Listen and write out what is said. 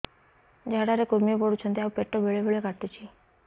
ଝାଡା ରେ କୁର୍ମି ପଡୁଛନ୍ତି ଆଉ ପେଟ ବେଳେ ବେଳେ କାଟୁଛି